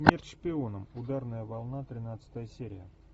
смерть шпионам ударная волна тринадцатая серия